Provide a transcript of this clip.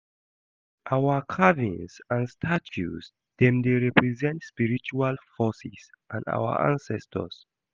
Our carvings and statues dem dey represent spiritual forces and our ancestors.